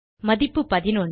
மதிப்பு 11